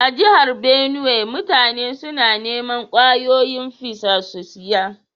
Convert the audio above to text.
A'jihar Benue, mutane suna niman kwayoyin fisa su siya.